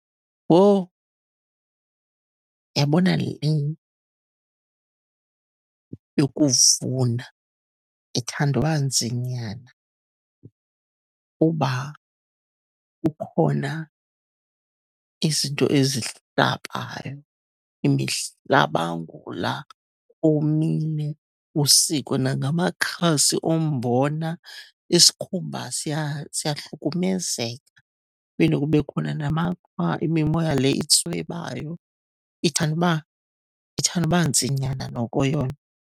Woh, uyabona leyo yokuvuna ithanda uba nzinyana uba kukhona izinto ezihlabayo, imihlabangula omile, usikwe nangamakhazi ombona. Isikhumba siyahlukumezeka. Kuphinde kube khona namaqhwa, imimoya le itswebayo. Ithande uba, ithande uba nzinyana noko yona.